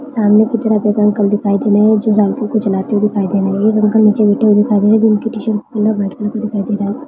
सामने के तरह एक अंकल दिखाई दे रहा है जो साइकल को चलाते दिखाई दे रहे है। एक अंकल नीचे बैठे हुए दिखाई दे रहे है जिनकी ट्शर्ट कलर व्हाइट कलर दिखाई दे रहा है।